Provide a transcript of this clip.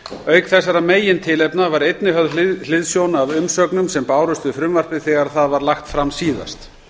auk þessar megintilefna var einnig höfð hliðsjón af umsögnum sem bárust við frumvarpið þegar það var lagt fram síðast